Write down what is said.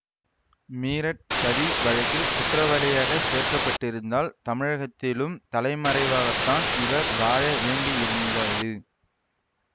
மீரட் சதி வழக்கில் குற்றவாளியாகச் சேர்க்கப்பட்டிருந்தால் தமிழகத்திலும் தலைமறைவாகத்தான் இவர் வாழ வேண்டியிருந்தது